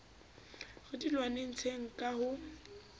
re di lwanetseng ka ho